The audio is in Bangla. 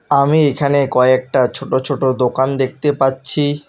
আমি এখানে কয়েকটা ছোটো ছোটো দোকান দেখতে পাচ্ছি।